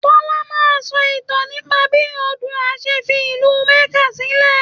Tọ́lá máa sọ ìtàn nípa bí Oòduà ṣe fi ìlú Makkah sílẹ̀